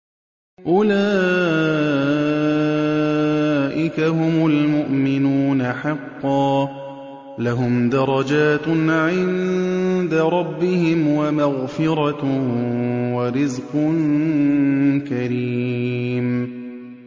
أُولَٰئِكَ هُمُ الْمُؤْمِنُونَ حَقًّا ۚ لَّهُمْ دَرَجَاتٌ عِندَ رَبِّهِمْ وَمَغْفِرَةٌ وَرِزْقٌ كَرِيمٌ